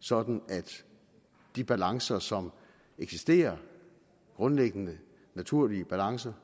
sådan at de balancer som eksisterer grundlæggende naturlige balancer